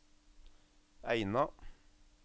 Eina